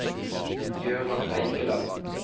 Gøran Eikeland